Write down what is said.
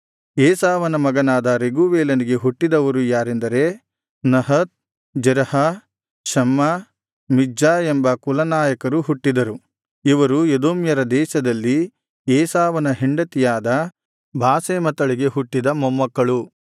ಏಸಾವನ ಮಗನಾದ ರೆಗೂವೇಲನಿಗೆ ಹುಟ್ಟಿದವರು ಯಾರೆಂದರೆ ನಹತ್ ಜೆರಹ ಶಮ್ಮಾ ಮಿಜ್ಜಾ ಎಂಬ ಕುಲನಾಯಕರು ಹುಟ್ಟಿದರು ಇವರು ಎದೋಮ್ಯರ ದೇಶದಲ್ಲಿ ಏಸಾವನ ಹೆಂಡತಿಯಾದ ಬಾಸೆಮತಳಿಗೆ ಹುಟ್ಟಿದ ಮೊಮ್ಮಕ್ಕಳು